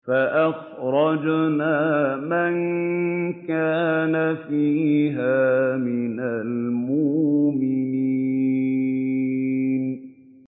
فَأَخْرَجْنَا مَن كَانَ فِيهَا مِنَ الْمُؤْمِنِينَ